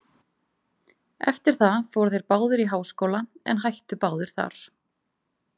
Eftir það fóru þeir báðir í háskóla en hættu báðir þar.